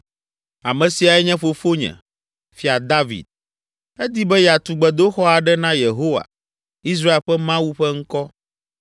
“Ame siae nye fofonye, Fia David. Edi be yeatu gbedoxɔ aɖe na Yehowa, Israel ƒe Mawu ƒe ŋkɔ.